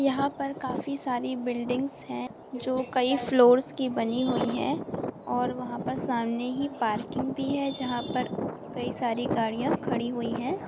यहां पर काफी सारी बिल्डिंग्स है जो कई फ्लोर्स की बनी हुई है और वहा पर सामने ही पार्किंग भी है जहा पर कई सारी गाडियां खड़ी हुई है।